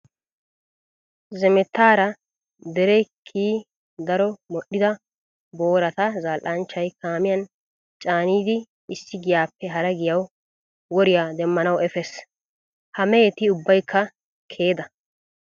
Zemettaara dere kiyidi daro modhdhida boorata zal"anchchay kaamiyan caanidi issi giyaappe hara giyawu woriya demmanawu efees. Ha meheti ubbaykka keeda.